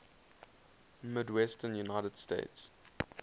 midwestern united states